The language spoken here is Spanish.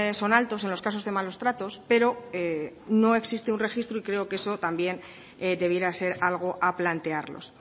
son altos en los casos de malos tratos pero no existe un registro y creo que eso también debiera ser algo a plantearlos